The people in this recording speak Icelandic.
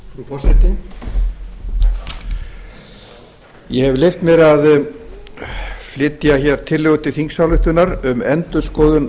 forseti ég hef leyft mér að flytja hér tillögu til þingsályktunar um endurskoðun